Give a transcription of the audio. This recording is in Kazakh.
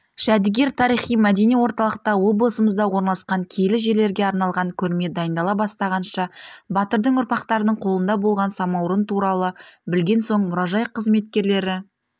жәдігер тарихи-мәдени орталықта облысымызда орналасқан киелі жерлерге арналған көрме дайындала бастағанша батырдың ұрпақтарының қолында болған самаурын туралы білген соң мұражай қызметкерлері